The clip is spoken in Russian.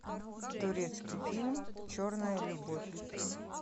турецкий фильм черная любовь